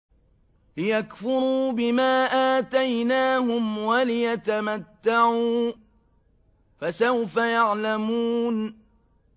لِيَكْفُرُوا بِمَا آتَيْنَاهُمْ وَلِيَتَمَتَّعُوا ۖ فَسَوْفَ يَعْلَمُونَ